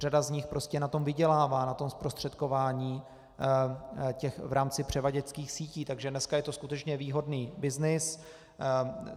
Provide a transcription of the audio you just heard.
Řada z nich prostě na tom vydělává, na tom zprostředkování v rámci převaděčských sítí, takže dneska je to skutečně výhodný byznys.